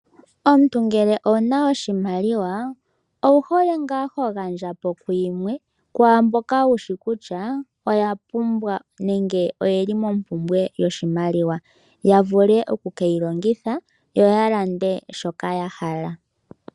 Omuntu ngele owu na oshimaliwa owu hole ngaa ho gandja po yimwe kwaa mboka wu shi kutya oya pumbwa nenge oye li mompumbwe yoshimaliwa ya vule oku ke yi longitha yo ya lande shoka ya hala.